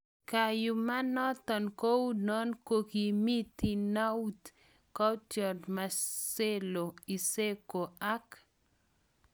Kayuma noton kou non kokimi Thinaut Courtois, Marcelo, Isco ak